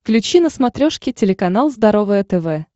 включи на смотрешке телеканал здоровое тв